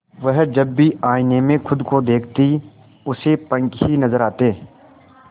वह जब भी आईने में खुद को देखती उसे पंख ही नजर आते